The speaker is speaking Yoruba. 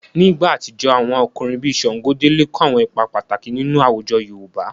Ní ìgbà àtijọ́, àwọn ọkùnrin bíi Ṣàngódélé kó àwọn ipa pàtàkì nínú àwọn àwùjọ yoòbá